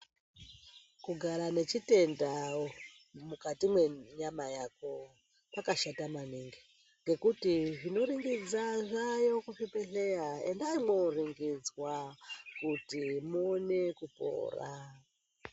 Kugara nechitenda mukati mwenyama yako kwakashata maningi ngekuti zvinoringidza zvaayo muzvibhedhlera. Endai mwooringidzwa kuti muone kupora.